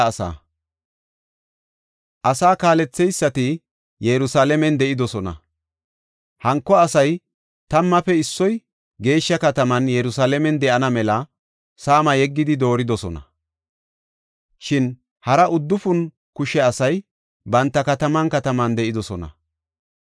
Asaa kaaletheysati Yerusalaamen de7idosona. Hanko asay tammaafe issoy geeshsha kataman Yerusalaamen de7ana mela saama yeggidi dooridosona. Shin hara uddufun kushe asay banta kataman kataman de7idosona.